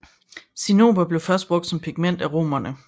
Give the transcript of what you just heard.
Cinnober blev først brugt som pigment af romerne